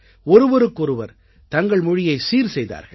ஒருவருக்கொருவர் தங்கள் மொழியைச் சீர் செய்தார்கள்